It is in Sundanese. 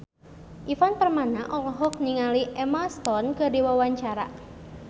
Ivan Permana olohok ningali Emma Stone keur diwawancara